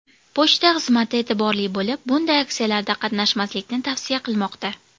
Pochta xizmati e’tiborli bo‘lib, bunday aksiyalarda qatnashmaslikni tavsiya qilmoqda.